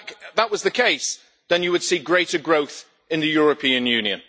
If that was the case, then you would see greater growth in the European Union.